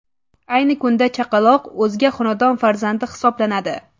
Ayni kunda chaqaloq o‘zga xonadon farzandi hisoblanadi.